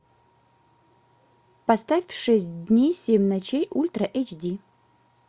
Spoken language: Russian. поставь шесть дней семь ночей ультра эйч ди